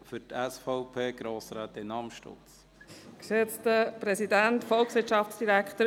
Für die SVP-Fraktion: Grossrätin Amstutz.